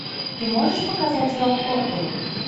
ты можешь показать рок оперу